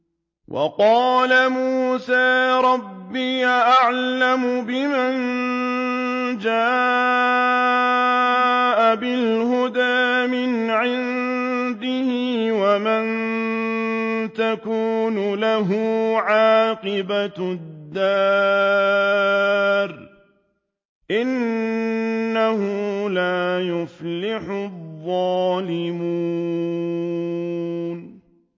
وَقَالَ مُوسَىٰ رَبِّي أَعْلَمُ بِمَن جَاءَ بِالْهُدَىٰ مِنْ عِندِهِ وَمَن تَكُونُ لَهُ عَاقِبَةُ الدَّارِ ۖ إِنَّهُ لَا يُفْلِحُ الظَّالِمُونَ